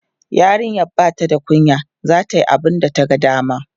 yarinyan Bata da kunya zata Yi abunda ta ga dama